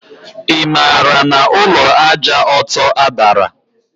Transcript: Imaala na Ulọ Àjà Ọtọ adara?